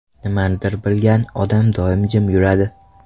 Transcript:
Nimanidir bilgan odam doim jim yuradi .